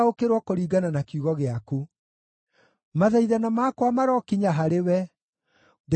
Mathaithana makwa marokinya harĩwe; ndeithũra kũringana na kĩĩranĩro gĩaku.